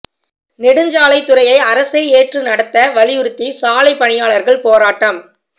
நெடுஞ்சாலைத் துறையை அரசே ஏற்று நடத்த வலியுறுத்தி சாலை பணியாளர்கள் போராட்டம்